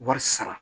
Wari sara